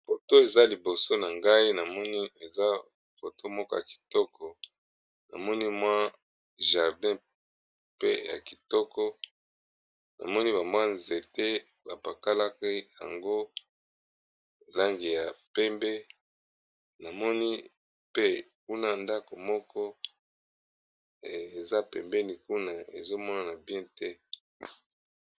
poto eza liboso na ngai namoni eza foto moko ya kitoko namoni mwa jardin pe ya kitoko namoni bambwa nzete bapakalaki yango langi ya pembe namoni pe kuna ndako moko eza pembeni kuna ezomonana bien te